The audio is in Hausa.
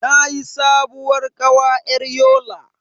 Nayi sabuwar kawa yar Yola.